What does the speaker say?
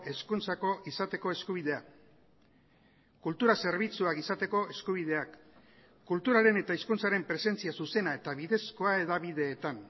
hezkuntzako izateko eskubidea kultura zerbitzuak izateko eskubideak kulturaren eta hizkuntzaren presentzia zuzena eta bidezkoa hedabideetan